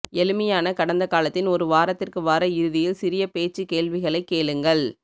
எளிமையான கடந்தகாலத்தின் ஒரு வாரத்திற்கு வார இறுதியில் சிறிய பேச்சு கேள்விகளைக் கேளுங்கள்